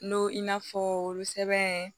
N'o i n'a fɔ olu sɛbɛn